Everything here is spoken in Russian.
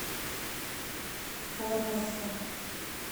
формоса